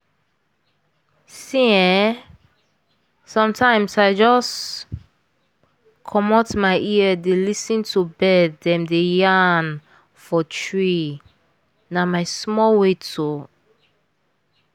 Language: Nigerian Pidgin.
see ehsometimes i just* **‘pause’** *commot my ear dey lis ten to bird dem dey yarn for tree—na my small way to*